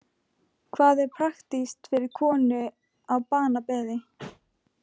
Hvað er praktískt fyrir konu á banabeði?